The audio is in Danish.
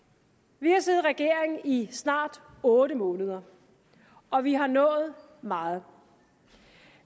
vi har siddet i regering i snart otte måneder og vi har nået meget